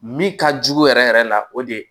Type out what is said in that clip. Min ka jugu yɛrɛ yɛrɛ la o de ye